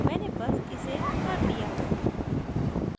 मैंने बस इसे कर लिया है